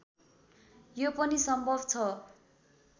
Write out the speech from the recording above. यो पनि सम्भव छ